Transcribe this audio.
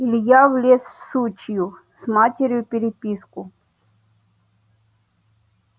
илья влез в сучью с матерью переписку